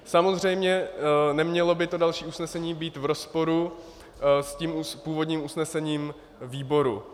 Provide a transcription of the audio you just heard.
Samozřejmě nemělo by to další usnesení být v rozporu s tím původním usnesením výboru.